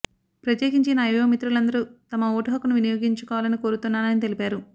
ప్రత్యేకించి నా యువ మిత్రులందరూ తమ ఓటు హక్కును వినియోగించుకోవాలని కోరుతున్నాని తెలిపారు